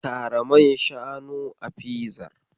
Kara man shanu a fizar.